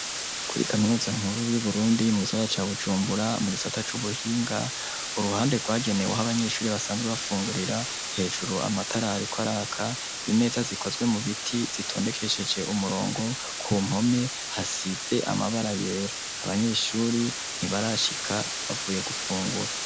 Kuri kaminuza nkuru y'uburundi, mu gisara ca Bujumbura mu gisata c'ubuhinga, uruhande rwagenewaho abanyeshuri basanzwe bafungurira, hejuru Amatara arikwaraka, Imeza zikozwe mu biti, zitondekesheje umurongo, ku mpome hasize amabara yera, Abanyeshuri ntibarashika bavuye gufungura.